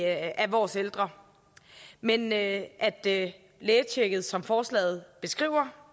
af vores ældre men at at lægetjekket som forslaget beskriver